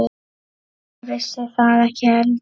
Ég vissi það ekki heldur.